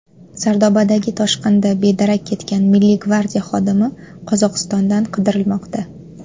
Sardobadagi toshqinda bedarak ketgan Milliy gvardiya xodimi Qozog‘istondan qidirilmoqda.